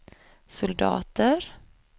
soldater